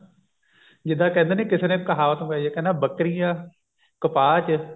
ਜਿੱਦਾਂ ਕਹਿੰਦੇ ਨੇ ਕਿਸੇ ਨੇ ਕਹਾਵਤ ਪਾਈ ਹੈ ਕਹਿੰਦਾ ਬੱਕਰੀਆਂ ਕਪਾਹ ਚ